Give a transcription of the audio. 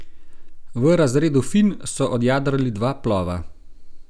V razredu finn so odjadrali dva plova.